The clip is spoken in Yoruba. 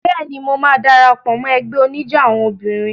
Bẹ́ẹ̀ni, mo máa dara pọ̀ mọ́ ẹgbẹ́ oníjó àwọn obìnrin.